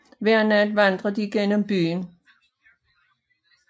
Hver nat vandrer de gennem byen